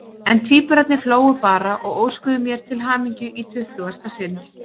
En tvíburarnir hlógu bara og óskuðu mér til hamingju í tuttugasta sinn.